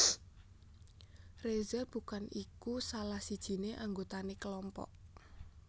Reza bukan iku salah sijiné anggotané kelompok